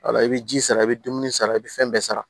Wala i bɛ ji sara i bɛ dumuni sara i bɛ fɛn bɛɛ sara